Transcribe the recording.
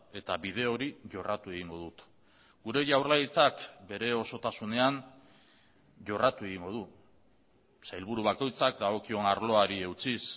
eta bide hori jorratu egingo dut gure jaurlaritzak bere osotasunean jorratu egingo du sailburu bakoitzak dagokion arloari eutsiz